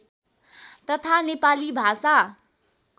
तथा नेपाली भाषा